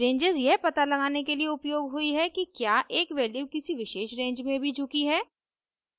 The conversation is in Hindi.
ranges यह पता लगाने के लिए उपयोग हुई हैं कि क्या एक वैल्यू किसी विशेष रेंज में भी झुकी है